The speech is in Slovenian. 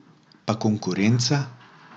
Pa konkurenca?